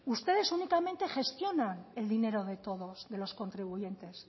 ustedes únicamente gestionan el dinero de todos de los contribuyentes